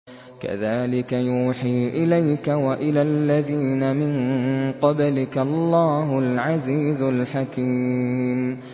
كَذَٰلِكَ يُوحِي إِلَيْكَ وَإِلَى الَّذِينَ مِن قَبْلِكَ اللَّهُ الْعَزِيزُ الْحَكِيمُ